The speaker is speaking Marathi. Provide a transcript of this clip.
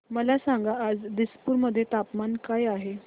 मला सांगा आज दिसपूर मध्ये तापमान काय आहे